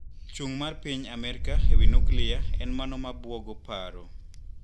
Chung` mar piny Amerka ewii nuklia en mano mabuogo paro.